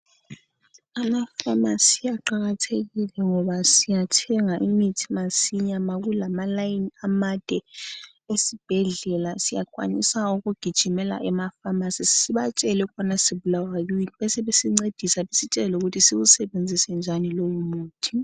Amafamasi aqakathekile ngoba siyathenga imithi masinya makulamalayini amade esibhedlela, siyakwanisa ukugijimela emafamasi sibatshele ukubana sibulawayo yini. Besebesincedisa besitshele lokuthi siwusebenzisenjani lowo muthi.